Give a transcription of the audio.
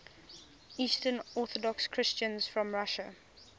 eastern orthodox christians from russia